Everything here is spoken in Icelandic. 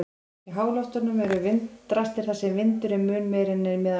Í háloftunum eru vindrastir þar sem vindur er mun meiri en að meðaltali.